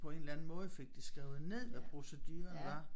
På en eller anden måde fik det skrevet ned hvad proceduren var